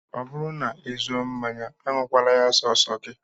Ọ bụrụ na ị zụọ mmanya, aṅụkwala ya sọọsọ gị